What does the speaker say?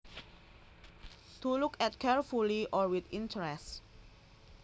To look at carefully or with interest